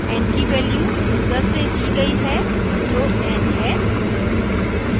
n की value user से the गई है जो n है